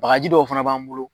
Bakaji dɔw fana b'an bolo